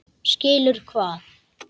Skilur hvað?